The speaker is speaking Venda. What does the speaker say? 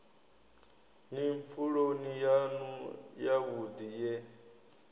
ni pfuloni yanu yavhudi ye